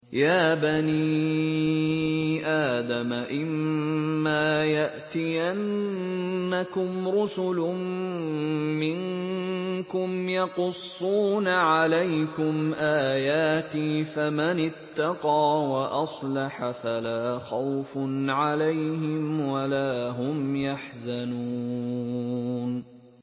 يَا بَنِي آدَمَ إِمَّا يَأْتِيَنَّكُمْ رُسُلٌ مِّنكُمْ يَقُصُّونَ عَلَيْكُمْ آيَاتِي ۙ فَمَنِ اتَّقَىٰ وَأَصْلَحَ فَلَا خَوْفٌ عَلَيْهِمْ وَلَا هُمْ يَحْزَنُونَ